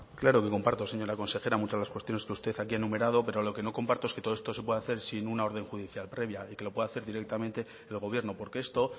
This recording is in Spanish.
claro que comparto señora consejera muchas de las cuestiones que usted aquí ha enumerado pero lo que no comparto es que todo esto se pueda hacer sin una orden judicial previa y que lo pueda hacer directamente el gobierno porque esto